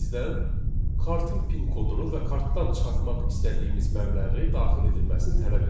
bizdən kartın pin kodunu və kartdan çıxartmaq istədiyimiz məbləği daxil edilməsini tələb edir.